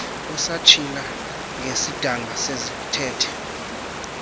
osatshila ngesidanga sezithethe